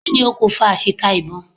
Kí ni okùnfà àṣìta ìbọn?